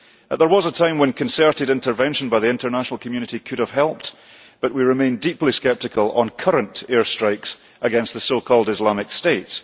There was a time when concerted intervention by the international community could have helped, but we remain deeply sceptical on current air strikes against the so called Islamic State.